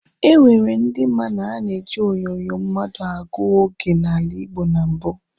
E nwere ndi ma na a na-eji onyonyo mmadụ agụ oge n'ala Igbo na mbụ.